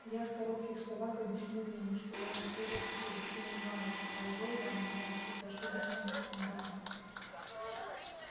я в коротких словах объяснил ему что я поссорился с алексеем иванычем а его ивана игнатьича прошу быть моим секундантом